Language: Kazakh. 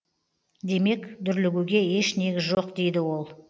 демек дүрлігуге еш негіз жоқ дейді ол